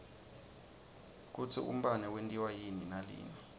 kutsi umbane wentiwa yini nalina